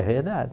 É verdade.